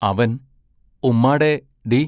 അവൻ ഉമ്മാടെ ഡി!